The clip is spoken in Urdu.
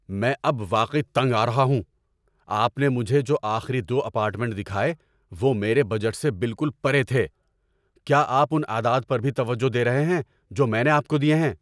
میں اب واقعی تنگ آ رہا ہوں۔ آپ نے مجھے جو آخری دو اپارٹمنٹ دکھائے وہ میرے بجٹ سے بالکل پرے تھے۔ کیا آپ ان اعداد پر بھی توجہ دے رہے ہیں جو میں نے آپ کو دیے ہیں؟